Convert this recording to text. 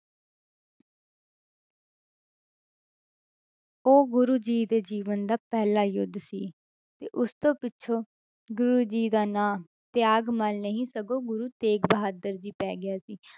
ਉਹ ਗੁਰੂ ਜੀ ਦੇ ਜੀਵਨ ਦਾ ਪਹਿਲਾ ਯੁੱਧ ਸੀ ਤੇ ਉਸ ਤੋਂ ਪਿੱਛੋਂ ਗੁਰੂ ਜੀ ਦਾ ਨਾਂ ਤਿਆਗ ਮੱਲ ਨਹੀਂ ਸਗੋਂ ਗੁਰੂ ਤੇਗ ਬਹਾਦਰ ਜੀ ਪੈ ਗਿਆ ਸੀ